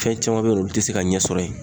Fɛn caman be yen nɔ, olu te se ka ɲɛ sɔrɔ yen.